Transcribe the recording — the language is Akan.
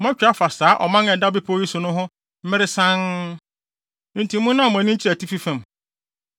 “Moatwa afa saa ɔman a ɛda bepɔw yi so no ho mmere sann, enti monnan mo ani nkyerɛ atifi fam.